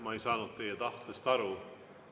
Ma ei saanud teie tahtest aru.